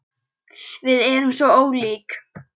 Við erum svo ólík.